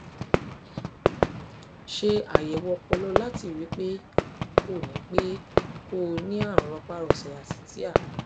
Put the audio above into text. ṣe àyẹwò ọpọlọ láti rí i pé kò ní pé kò ní ní àrùn rọpárọsẹ àti tia